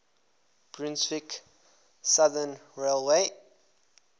brunswick southern railway